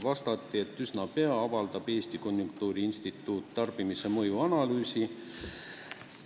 Vastati, et üsna pea avaldab Eesti Konjunktuuriinstituut tarbimisele avaldunud mõju analüüsi.